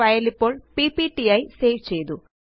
file ഇപ്പോള് PPT ആയി save ചെയ്തു